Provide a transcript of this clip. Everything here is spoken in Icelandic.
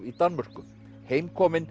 í Danmörku